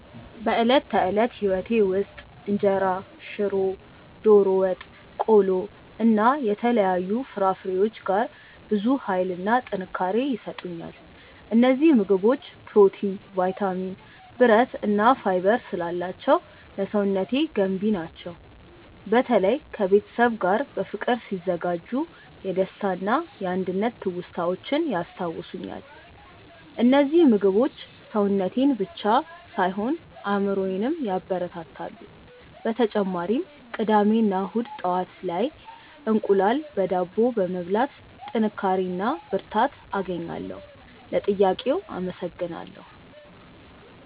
በዕለት ተዕለት ሕይወቴ ውስጥ እንጀራ፣ ሽሮ፣ ዶሮ ወጥ፣ ቆሎ እና የተለያዩ ፍራፍሬዎች ጋር ብዙ ኃይልና ጥንካሬ ይሰጡኛል። እነዚህ ምግቦች ፕሮቲን፣ ቫይታሚን፣ ብረት እና ፋይበር ስላላቸው ለሰውነቴ ገንቢ ናቸው። በተለይ ከቤተሰብ ጋር በፍቅር ሲዘጋጁ የደስታና የአንድነት ትውስታዎችን ያስታውሱኛል። እነዚህ ምግቦች ሰውነቴን ብቻ ሳይሆን አእምሮዬንም ያበረታታሉ። በተጨማሪም ቅዳሜ እና እሁድ ጠዋት ላይ እንቁላል በዳቦ በመብላት ጥንካሬ እና ብርታት አገኛለሁ። ለጥያቄው አመሰግናለሁ።